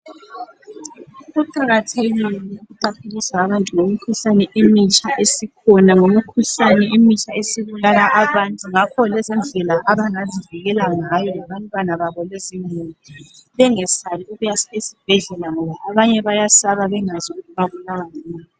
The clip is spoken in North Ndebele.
Kuqakathekile ukuqaphelisa abantu ngemikhuhlane emitsha esikhona, ngemikhuhlane emitsha esibulala abantu ngakho lezindlela abangazivikela ngayo konke labantwana lemuli, bengesabi ukuya esibhedlela ngoba abanye bayesaba bengazi ukuthi babulawa yini.